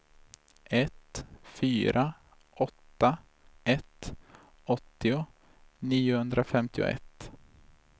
ett fyra åtta ett åttio niohundrafemtioett